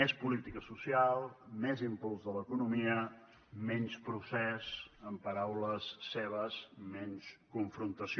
més política social més impuls de l’economia menys procés amb paraules seves menys confrontació